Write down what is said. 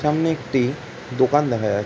সামনে একটি দোকান দেখা যা--